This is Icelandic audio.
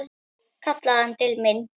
kallaði hann til mín.